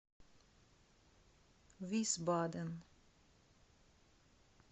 висбаден